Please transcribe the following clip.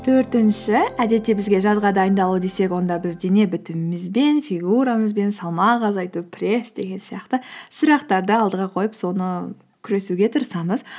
төртінші әдетте бізге жазға дайындалу десек онда біз дене бітуімізбен фигурамызбен салмақ азайту пресс деген сияқты сұрақтарды алдыға қойып соны күресуге тырысамыз